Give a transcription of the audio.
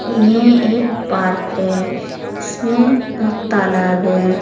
यह एक पार्क है इसमें वो तालाब है।